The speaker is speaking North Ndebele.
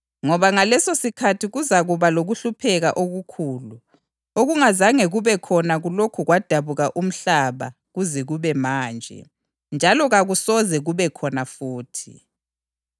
Ngoba ngalesosikhathi kuzakuba lokuhlupheka okukhulu, okungazange kube khona kulokhu kwadabuka umhlaba kuze kube manje, njalo kakusoze kube khona futhi.